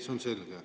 See on selge.